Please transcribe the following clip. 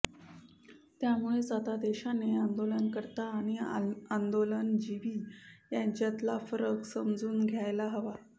त्यामुळेच आता देशाने आंदोलनकर्ते आणि आंदोलनजीवी यांच्यातला फरक समजून घ्यायला हवा